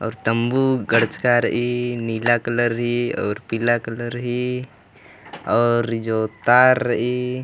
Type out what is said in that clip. और तम्बू गड़चका रइई नीला कलर ही और पीला कलर ही और जो तार रःइई --